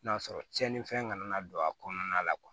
N'a sɔrɔ tiɲɛnifɛn kana don a kɔnɔna la